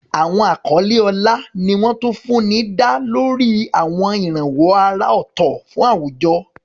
Àwọn àkọlé ọlá ni wọ́n tún fún ní dá lórí àwọn ìrànwọ́ àrà ọ̀tọ̀ fún àwùjọ.